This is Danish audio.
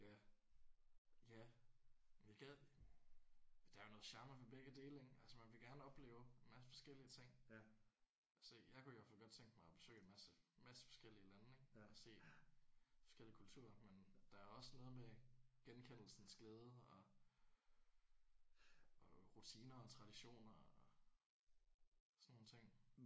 Ja ja. Jeg gad der er jo noget charme ved begge dele ik? Altså man vil gerne opleve en masse forskellige ting. Så jeg kunne i hvert fald godt tænke mig at besøge en masse masse forskellige lande ik og se forskellige kulturer. Men der er også noget ved genkendelsens glæde og og rutiner og traditioner og sådan nogle ting